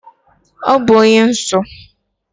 Ọ bụ onye nọọsụ.